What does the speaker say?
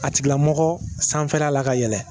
A tigilamɔgɔ sanfɛla la ka yɛlɛ